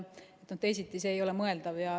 Teisiti ei ole mõeldav.